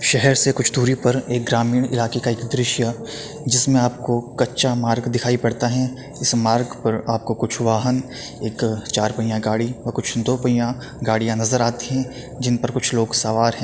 शहर से कुछ दूरी पर ग्रामीण इलाके का एक दृश्य जिस में आपको कच्चा मार्ग दिखाई पड़ता है इस मार्ग पर आपको कुछ वाहन एक अ चार पहिया गाड़ी और कुछ अ दो पहिया गाड़ियां नजर आती हैं जिन पर कुछ लोग सवार हैं।